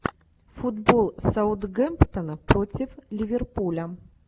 футбол саутгемптона против ливерпуля